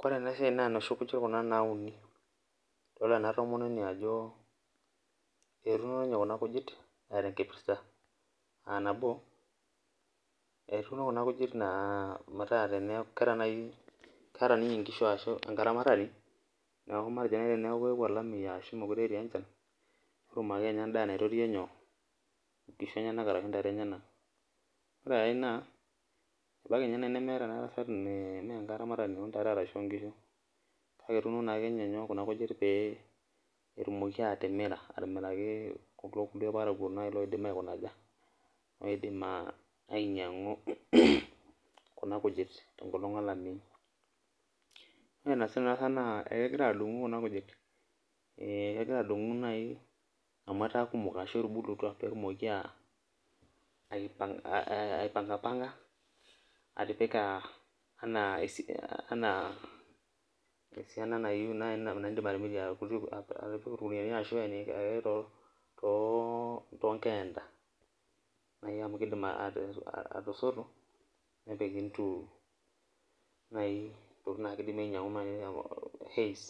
Kore ena siai naa noshi kuji Kuna nauni ,idol ena tomononi ajo etuuno ninye kuna kujit eeta enkipirta ,aa nabo etuuno ninye kuna kuji aa keta ninye nkishu ashu enkaramatani neeku matejo naaji teneeku eyeuo olameyu ashu mookure etii enchan ,netum ake ninye endaa naititiyie nkishu orashu ntae enyenak ,ore naa ina imaniki naaji aa ore ena tasat naa menkatamatani oontare orashu nkishu ,kake etuuno naa ninye Kuna kujit pee etumoki atimira atimiraki kulo kulie parakuo aidim ainyangu Kuna kujit tenkolong olameyu, na ina esita kegira adungu Kuna kujit amu etaa kumok ashu etubulutua pee etumoki aipanga atipika enaa esiana naaji nayieu nidim atimirie atipika orkuniyani ashu tonkeenda, amu keidim atasotu nepik ntokiting naaji hays